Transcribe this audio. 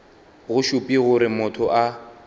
go šupe gore motho a